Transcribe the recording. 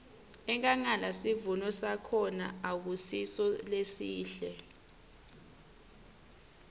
enkhangala sivuno sakhona akusiso lesihle